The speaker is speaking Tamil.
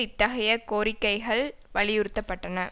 இத்தகைய கோரிக்கைகள் வலியுறுத்தப்பட்டன